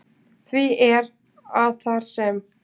Því er, að þar sem